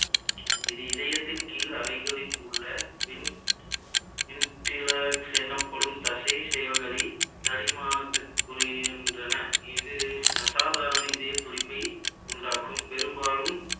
இது இதயத்தின் கீழ் அறைகளில் உள்ள எனப்படும் தசை செல்களை என்றன இது அசாதாரண இதயத் துடிப்பை உண்டாக்கும் பெரும்பாலும்